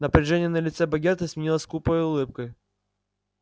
напряжение на лице богерта сменилось скупой улыбкой